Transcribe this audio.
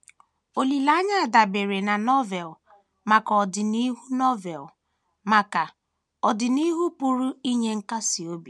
Olileanya dabeere na Novel maka ọdịnihu Novel maka ọdịnihu pụrụ inye nkasi obi